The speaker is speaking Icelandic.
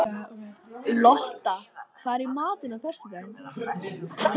Lotta, hvað er í matinn á föstudaginn?